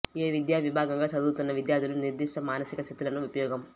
ఏ విద్యా విభాగంగా చదువుతున్న విద్యార్థుల నిర్దిష్ట మానసిక స్థితులను ఉపయోగం